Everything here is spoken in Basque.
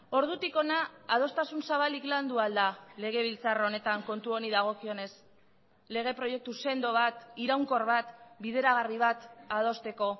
ordutik hona adostasun zabalik landu ahal da legebiltzar honetan kontu honi dagokionez lege proiektu sendo bat iraunkor bat bideragarri bat adosteko